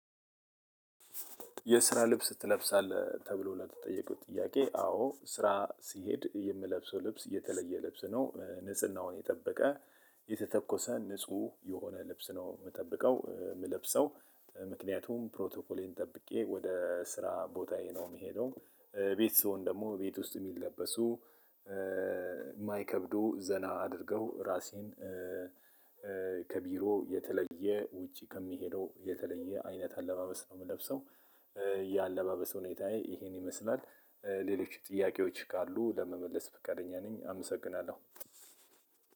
የስራ ልብስ ትለብሳለህ ተብሎ ለተጠየቁት ጥያቄ አዎ ስራ ስሄድ የምለብሰው ልብስ የተለየ ልብስ ነው ንጽህናውን የጠበቀ የተተኮሰ ንጹህ የሆነ ልብስ ነው የምጠብቀው። የምለብሰው ምክንያቱም ፕሮቶኮሌን ጠብቄ ወደ ስራ ቦታዬ ነው የምሄደው ቤት ስሆን ደግሞ ቤት ውስጥ የሚል ለበሱ። የማይከብዱ ዘና አድርገው ራሴን። ከቢሮ የተለየ ውጪ ከሚሄደው የተለየ አይነት አለባበስ ነው የምለብሰው። የአለባበስ ሁኔታየ ይሄን ይመስላል። ሌሎች ጥያቄዎች ካሉ ለመመለስ ፍቃደኛ ነኝ። አመሰግናለሁ።